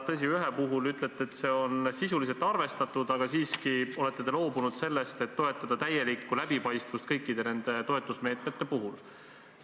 Tõsi, ühe puhul te ütlete, et seda on sisuliselt arvestatud, aga siiski olete loobunud sellest, et toetada täielikku läbipaistvust kõikide toetusmeetmete puhul.